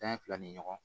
Tan ni fila ni ɲɔgɔn